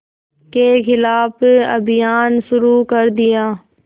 के ख़िलाफ़ अभियान शुरू कर दिया